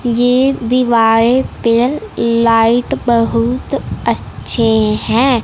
ये दीवारें पे लाइट बहुत अच्छे हैं।